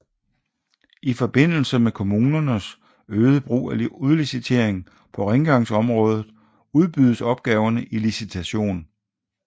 I forbindelse med kommunernes øgede brug af udlicitering på rengøringsområdet udbydes opgaverne i licitation